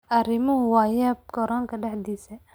Arrimuhu waa yaab garoonka dhexdiisa.